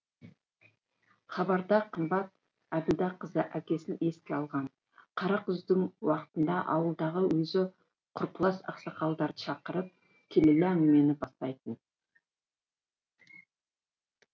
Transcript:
хабарда қымбат әбділдәқызы әкесін еске алған қара күздің уақытында ауылдағы өзі құрпылас ақсақалдарды шақырып келелі әңгімені бастайтын